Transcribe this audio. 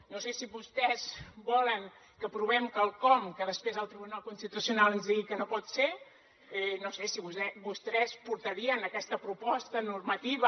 no sé si vostès volen que aprovem quelcom que després el tribunal constitucional ens digui que no pot ser no sé si vostès portarien aquesta proposta normativa